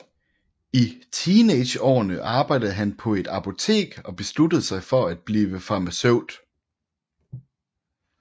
I teenageårene arbejde han på et apotek og besluttede sig for at blive farmaceut